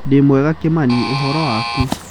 Ndĩ mwega Kimani, ũhoro waku?